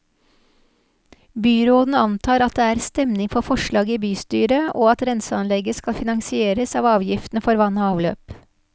Byråden antar at det er stemning for forslaget i bystyret, og at renseanlegget skal finansieres av avgiftene for vann og avløp.